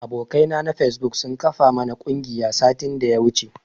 Abokai na na fesbuk sun kafa mana ƙungiya satin daya wuce.